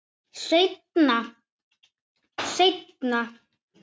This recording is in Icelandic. Seinna, seinna.